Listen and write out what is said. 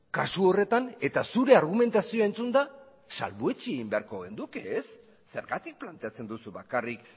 kasu horretan eta zure argumentazioa entzunda salbuetsi beharko genuke ez zergatik planteatzen duzu bakarrik